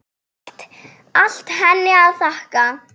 Allt henni að þakka.